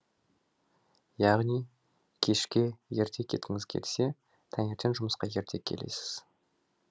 яғни кешке ерте кеткіңіз келсе таңертең жұмысқа ерте келесіз